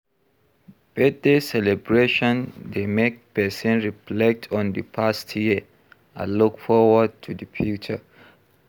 Birthday celebration dey make pesin reflect on di past year and look forward to di future.